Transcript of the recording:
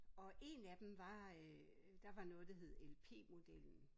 Og 1 af dem var øh der var noget der hed LP-modellen